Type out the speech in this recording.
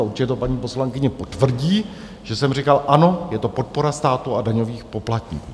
A určitě to paní poslankyně potvrdí, že jsem říkal, ano, je to podpora státu a daňových poplatníků.